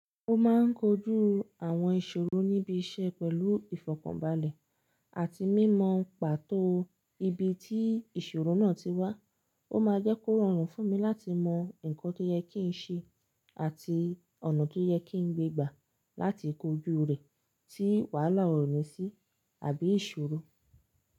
Ó máa ń kojú àwọn ìṣòro níbi iṣẹ́ pẹ̀lú ìfọ̀kànbalẹ̀ àti mímọ pàtó ibi tí ìṣòro náà ti wá. Ó máa jẹ́ kó rọrùn fún mi láti mọ nǹkan tó yẹ kí n ṣe àti ọ̀nà tó yẹ kí n gbé gbà láti kojú rẹ̀ tí wàhálà òrìnsì àbí ìṣòro.